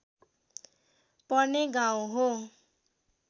पर्ने गाउँ हो